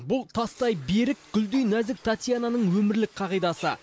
бұл тастай берік гүлдей нәзік татьянаның өмірлік қағидасы